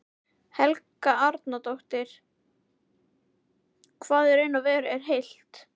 Helga Arnardóttir: Hvað í raun og veru er heilt?